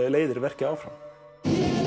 leiðir verkið áfram